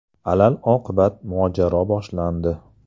Alal-oqibat mojaro boshlandi.